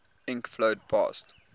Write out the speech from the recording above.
ink flowed past